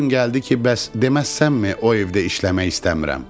Bir gün gəldi ki, bəs deməz sənmi o evdə işləmək istəmirəm.